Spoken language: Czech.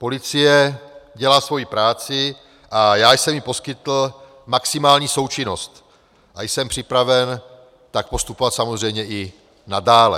Policie dělá svoji práci a já jsem jí poskytl maximální součinnost a jsem připraven tak postupovat samozřejmě i nadále.